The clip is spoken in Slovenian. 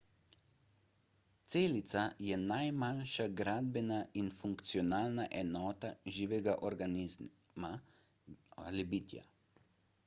celica je najmanjša gradbena in funkcionalna enota živega organizma bitja